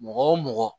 Mɔgɔ o mɔgɔ